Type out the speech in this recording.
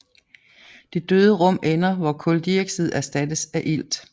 Det døde rum ender hvor kuldioxid erstattes af ilt